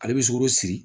Ale bɛ sukoro siri